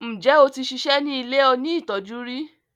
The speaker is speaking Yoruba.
njé o tí ṣiṣẹ ní ilẹ òní tọjú rí?